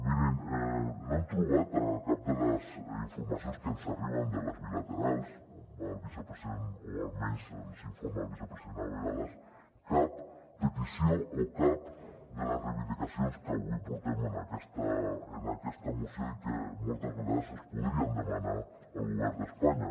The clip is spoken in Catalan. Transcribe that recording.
mirin no hem trobat a cap de les informacions que ens arriben de les bilaterals on va el vicepresident o almenys ens n’informa el vicepresident a vegades cap petició o cap de les reivindicacions que avui portem en aquesta moció i que moltes vegades es podrien demanar al govern d’espanya